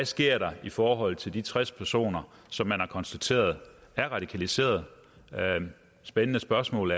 sker i forhold til de tres personer som man har konstateret er radikaliseret spændende spørgsmål